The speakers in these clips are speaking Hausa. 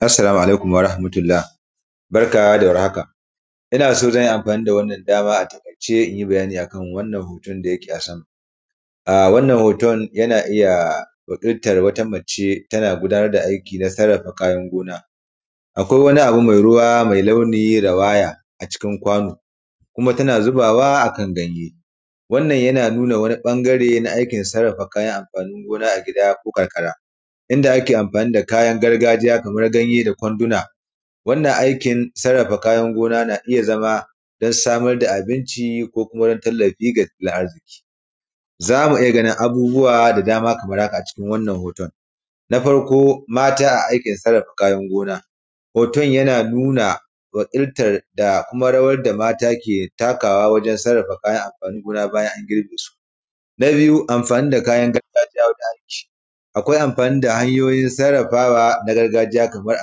Assalamu alaikum warahamatullah barka da war haka ina so zan yi amfani da wannan damar in yi bayanin wannan hoto da yake a sama. Wannan hoton yana iya wakiltar wata mace tana gudanar da aiki cikin gina. Akwai wani abu mai ruwa mai launi rawaya a cikin kwano kuma tana zubawa a kan ganye wannan yana nuna wani bangare na aikin yadda ake sarrafa kayan amfanin gona a gida ko karkara Inda ake amfani Kayan ganye da kwanduna. Wannan aikin sarrafa kayan gona kan iya zama don samar da abinci ko neman tallafi da neman arziki. Za mu iya gani abubuwan da dama. Kamar haka a cikin wannan hoto. Na farko mata a aikin sarrafa kayan gona hoton yana nuna wakiltar da mata ke takawa a wajen sarrafa kayan amfanin gona bayan an girbe su. Na biyu amfanin da kayan gargajiya wanda hanyoyin sarrafawa na gargajiya kamar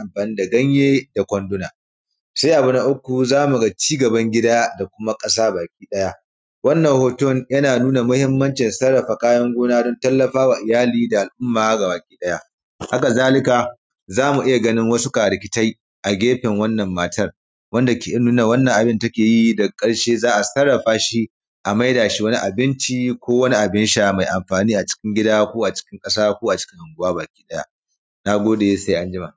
amfani da ganye da kwanduna. Sai abu na uku za mu ga ci gaban gida da kuma ƙasa baki ɗaya. Wannan hoton yana nuna muhimmancin. Haka zalika za mu iya ganin karikintai a gefen wannan matar wanda ke nuna wannan abun da take yi daga ƙarshe za a sarrafa shi a maida shi wani abinci ko wani abun sha mai amfani ko a cikin gida ko a cikin ƙasa ko a cikin anguwa baki ɗaya. Na gode sai anjima.